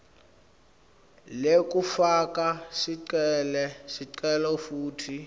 lekufaka sicelo futsi